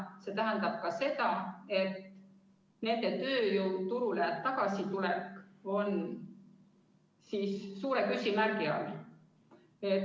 See tähendab ka seda, et nende tööjõuturule tagasitulek on suure küsimärgi all.